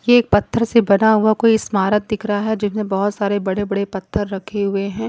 ये एक पत्थर से बना हुआ कोई स्मारक दिख रहा है जिसमें बहुत सारे बड़े बड़े पत्थर रखे हुए हैं।